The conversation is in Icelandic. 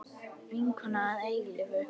Vinkona að eilífu.